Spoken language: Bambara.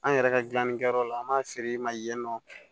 An yɛrɛ ka gilanni kɛyɔrɔ la an b'a feere ma yen nɔ